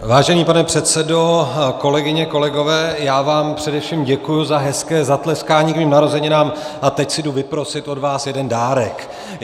Vážený pane předsedo, kolegyně, kolegové, já vám především děkuji za hezké zatleskání k mým narozeninám, a teď si jdu vyprosit od vás jeden dárek.